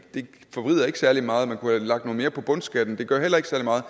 ikke særlig meget man kunne have lagt noget mere på bundskatten det gør heller ikke særlig meget